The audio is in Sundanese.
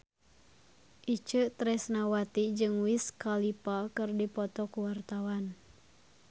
Itje Tresnawati jeung Wiz Khalifa keur dipoto ku wartawan